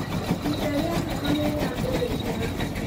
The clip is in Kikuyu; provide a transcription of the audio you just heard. Ihinda rĩa heho nĩ rĩambĩrĩria.